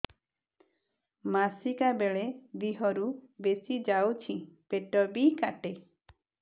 ମାସିକା ବେଳେ ଦିହରୁ ବେଶି ଯାଉଛି ପେଟ ବି କାଟେ